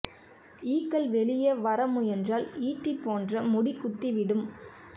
ஈக்கள் வெளியே வர முயன்றால் ஈட்டி போன்ற முடி குத்திவிடும்